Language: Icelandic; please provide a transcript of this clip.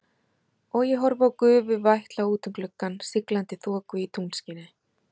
Og ég horfi á gufu vætla út um gluggann, siglandi þoku í tunglskini.